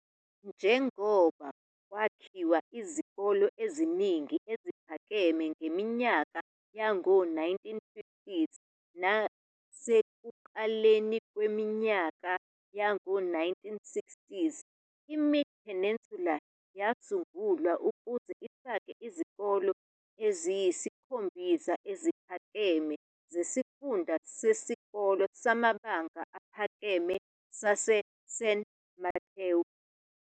Njengoba kwakhiwa izikole eziningi eziphakeme ngeminyaka yawo-1950s nasekuqaleni kwawo-1960, iMid-Peninsula yasungulwa ukuze ifake izikole eziyisikhombisa eziphakeme zeSifunda Sesikole Samabanga Aphakeme saseSan Mateo.